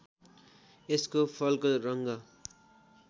यसको फलको रङ्ग